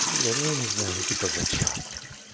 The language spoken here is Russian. ну блин ну я не знаю ну типа за час